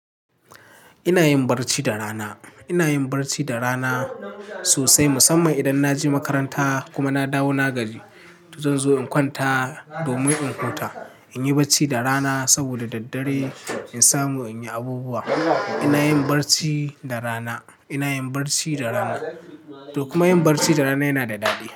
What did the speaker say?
Ina yin barci da rana, ina yin barci da rana sosai musamman idan na je makaranta kuma na dawo na gaji to zanzo in kwanta domin in huta. In yi barci da rana saboda daddare in samu in yi abubuwa. Ina yin barci da rana, ina yin barci da rana kuma yin barci da rana yana da daɗi.